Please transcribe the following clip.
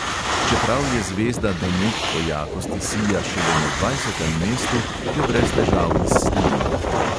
Čeprav je zvezda deneb po jakosti sija šele na dvajsetem mestu, jo brez težav izsledimo.